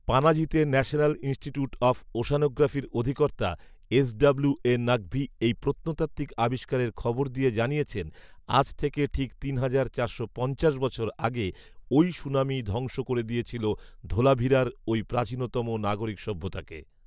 পানাজিতে ‘national institute of ওশ্যানোগ্রাফি’র অধিকর্তা S W A Naqvi এই প্রত্নতাত্ত্বিক আবিষ্কারের খবর দিয়ে জানিয়েছেন, ‘‘আজ থেকে ঠিক তিন হাজার চারশো পঞ্চাশ বছর আগে ওই সুনামি ধ্বংস করে দিয়েছিল ধোলাভিরার ওই প্রাচীনতম নাগরিক সভ্যতাকে"